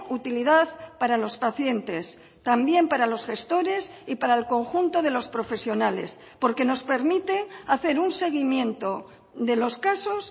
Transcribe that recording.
utilidad para los pacientes también para los gestores y para el conjunto de los profesionales porque nos permite hacer un seguimiento de los casos